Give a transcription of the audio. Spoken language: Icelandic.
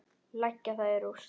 Leggja það í rúst!